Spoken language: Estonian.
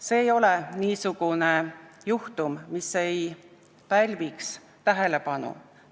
See ei ole niisugune juhtum, mis ei pälviks tähelepanu.